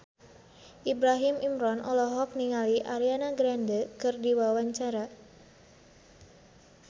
Ibrahim Imran olohok ningali Ariana Grande keur diwawancara